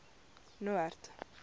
noord